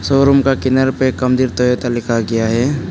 Showroom का किनारे पर तोयता लिखा गया है।